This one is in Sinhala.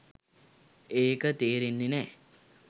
ඒක තේරෙන්නෙ නෑ